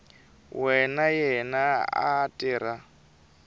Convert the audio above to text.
wa yena a a tirha